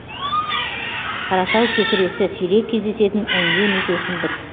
қаратау кекіресі сирек кездесетін эндемик өсімдік